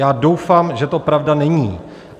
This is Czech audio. Já doufám, že to pravda není.